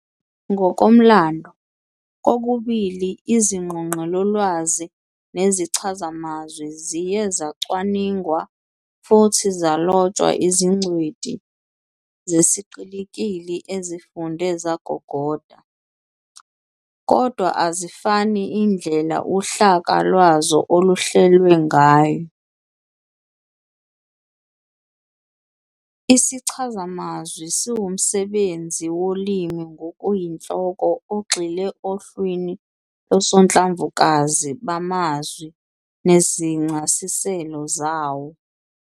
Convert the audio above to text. Ngokomlando, kokubili iziNgqoqelolwazi neziChazamazwi ziye zacwaningwa futhi zalotshwa izingcweti zesiqikili ezifunde zagogoda, kodwa azifani indlela uhlaka lwazo oluhlelwe ngayo. IsiChazamazwi siwumsebenzi wolimi ngokuyinhloko ogxile ohlwini losonhlamvukazi bamazwi nezincasiselo zawo.